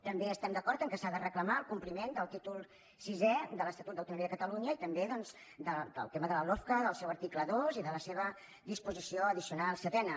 també estem d’acord que s’ha de reclamar el compliment del títol sisè de l’estatut d’autonomia de catalunya i també del tema de la lofca del seu article dos i de la seva disposició addicional setena